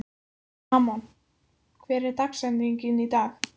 Amon, hver er dagsetningin í dag?